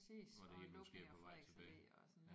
Hvor det hele måske er på vej tilbage